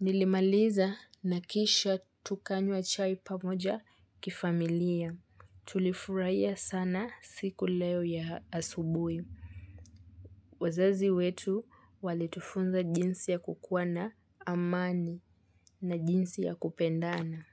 Nilimaliza na kisha tukanywa chai pamoja kifamilia. Tulifurahia sana siku leo ya asubui. Wazazi wetu walitufunza jinsi ya kukua na amani na jinsi ya kupendana.